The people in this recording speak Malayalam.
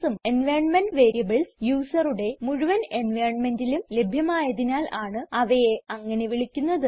എൻവൈറൻമെന്റ് വേരിയബിൾസ് യൂസറുടെ മുഴുവൻ environmentലും ലഭ്യമായതിനാൽ ആണ് അവയെ അങ്ങനെ വിളിക്കുന്നത്